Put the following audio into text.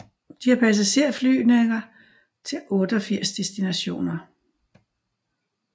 De har passagerflyvninger til 88 destinationer